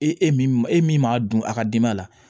E e min e min m'a dun a ka denba la